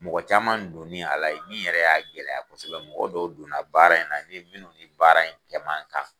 Mɔgɔ caman donni a la, min yɛrɛ ye a gɛlɛya kosɛbɛ, mɔgɔ dɔw donna baara in na munnu ni baara in kɛ man kan